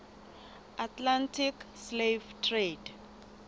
atlantic slave trade